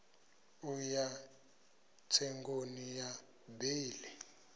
u ya tsengoni ya beili